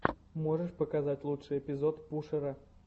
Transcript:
можешь показать лучший эпизод пушера